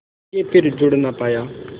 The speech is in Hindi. के फिर जुड़ ना पाया